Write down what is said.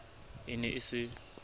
e ne e se e